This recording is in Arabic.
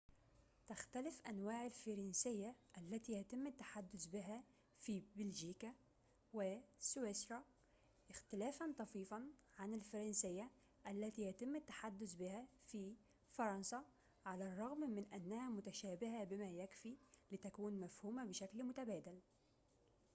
تختلف أنواع الفرنسية التي يتم التحدث بها في بلجيكا وسويسرا اختلافاً طفيفاً عن الفرنسية التي يتم التحدث بها في فرنسا على الرغم من أنها متشابهةٌ بما يكفي لتكون مفهومة بشكل متبادل